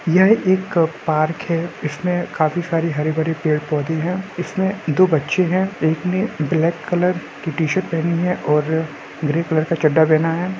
यह एक पार्क है इसमें काफी सारी हरी भारी पेड़ पोधे है इसमें दो बच्चे है एक ने ब्लैक कलर की टी-शर्ट पहनी है और ग्रे कलर का चड्डा पहना है।